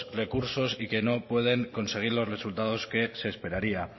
recursos y que no pueden conseguir los resultados que se esperaría